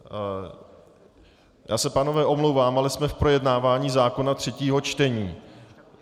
Já se, pánové, omlouvám, ale jsme v projednávání zákona, třetím čtení.